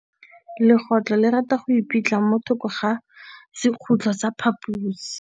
Legôtlô le rata go iphitlha mo thokô ga sekhutlo sa phaposi.